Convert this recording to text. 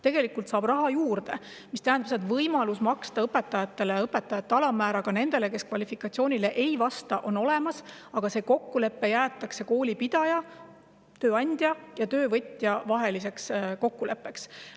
Tegelikult saab raha juurde, mis tähendab seda, et õpetajale on võimalik maksta õpetaja alammäära, ka nendele, kes kvalifikatsioonile ei vasta, aga see jäetakse koolipidaja, tööandja ja töövõtja omavaheliseks kokkuleppeks.